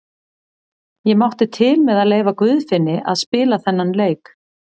Ég mátti til með að leyfa Guðfinni að spila þennan leik.